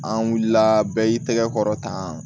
An wulila bɛɛ y'i tɛgɛ kɔrɔ tan